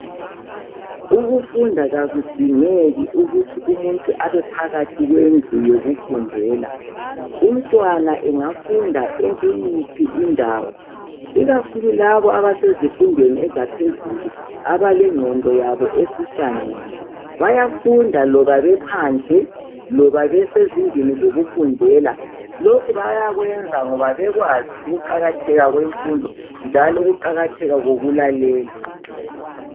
ukufunda akudingeki ukuthi umuntu bae phakathi kwendlu yokufundela umntwana angafunda ekuyiphi indawo ikakhulu labo abasezifundweni zaphezulu abalenqondo yabo esihlangene bayafunda loba bephandle loba besezindlini zokufundela lokhu bayakwenza ngoba bekwazi ukuqakatheka kwemfundo njalo ukuqakatheka kokulalela